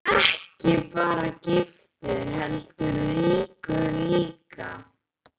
Ekki bara giftur heldur ríkur líka.